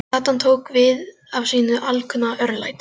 Gatan tók við af sínu alkunna örlæti.